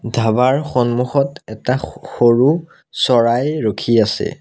ধাবাৰ সন্মুখত এটা স সৰু চৰাই ৰখি আছে।